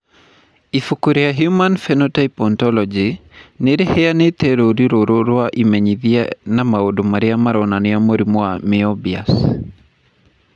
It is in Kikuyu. Ibuku rĩa The Human Phenotype Ontology nĩ rĩheanĩte rũũri rũrũ rwa imenyithia na maũndũ marĩa maronania mũrimũ wa Moebius.